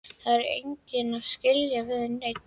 Það er enginn að skilja við neinn.